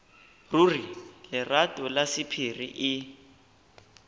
ruri lerato la sephiri e